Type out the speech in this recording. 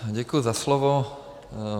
Děkuji za slovo.